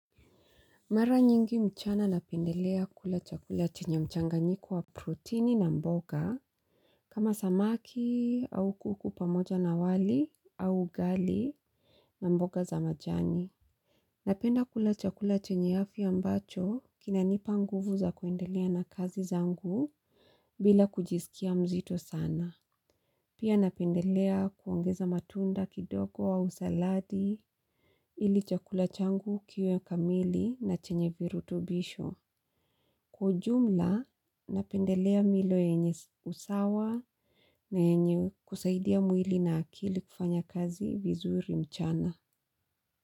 Mara nyingi mchana napendelea kula chakula chenye mchanganyiko wa protini na mboga. Kama samaki au kuku pamoja na wali au ugali na mboga za majani. Napenda kula chakula chenye afya ambacho kinanipa nguvu za kuendelea na kazi zangu bila kujisikia mzito sana. Pia napendelea kuongeza matunda kidogo au saladi ili chakula changu kiwe kamili na chenye virutubisho. Kwa ujumla, napendelea milo yenye usawa na yenye kusaidia mwili na akili kufanya kazi vizuri mchana.